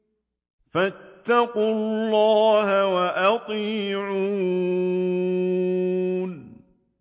فَاتَّقُوا اللَّهَ وَأَطِيعُونِ